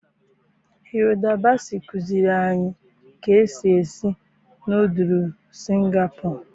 Hilda Baci kụziiri anyị ka esi esi nọdụlụ Singapọ.